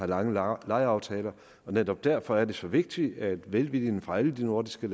langvarige lejeaftaler og netop derfor er det så vigtigt at velviljen fra alle de nordiske